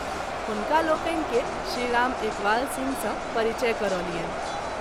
हुनका लोकनि के श्री राम एकवाल सिंह सँ परिचय करौलियनि।